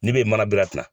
Ne bɛ manabila ta